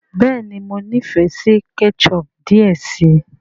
béèni mọ n'ifẹ sí ketchup diẹ sí.